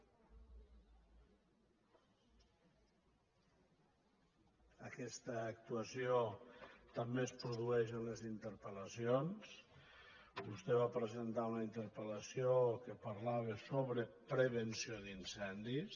aquesta actuació també es produeix en les interpel·sentar una interpel·lació que parlava sobre prevenció d’incendis